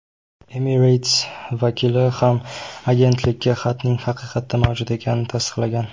Emirates vakili ham agentlikka xatning haqiqatda mavjud ekanini tasdiqlagan.